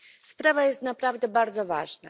Sprawa jest naprawdę bardzo ważna.